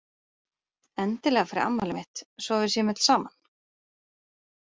Endilega fyrir afmælið mitt svo að við séum öll saman.